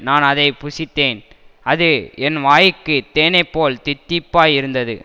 நான் அதை புசித்தேன் அது என் வாய்க்குத் தேனைப்போல் தித்திப்பாயிருந்தது